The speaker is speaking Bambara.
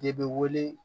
De bɛ wele